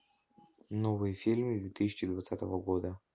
новые фильмы две тысячи двадцатого года